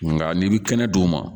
Nka n'i bi kɛnɛ d'u ma